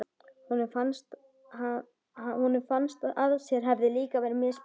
Honum fannst að sér hefði líka verið misboðið.